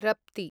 रप्ति